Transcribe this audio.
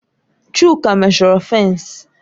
Chuka meshọrọ fènsi